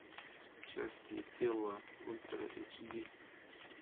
части тела ультра эйч ди